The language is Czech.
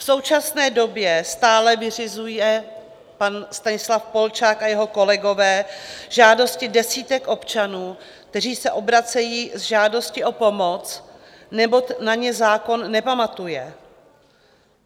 V současné době stále vyřizuje pan Stanislav Polčák a jeho kolegové žádosti desítek občanů, kteří se obracejí s žádostí o pomoc, neboť na ně zákon nepamatuje.